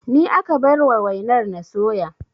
Ni aka bar wa wainar na soya